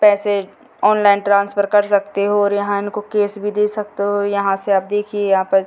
पैसे online transfer कर सकते हो और यहां इनको कैश भी दे सकते हो यहां से आप देखिये यहां पे --